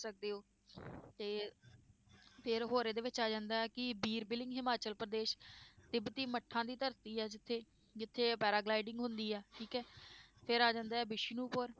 ਸਕਦੇ ਹੋ ਤੇ ਫਿਰ ਹੋਰ ਇਹਦੇ ਵਿੱਚ ਆ ਜਾਂਦਾ ਹੈ ਕਿ ਵੀਰ ਹਿਮਾਚਲ ਪ੍ਰਦੇਸ਼ ਤਿਬਤੀ ਮੱਠਾਂ ਦੀ ਧਰਤੀ ਹੈ ਜਿੱਥੇ, ਜਿੱਥੇ paragliding ਹੁੰਦੀ ਹੈ ਠੀਕ ਹੈ, ਫਿਰ ਆ ਜਾਂਦਾ ਹੈ ਵਿਸ਼ਨੂਪੁਰ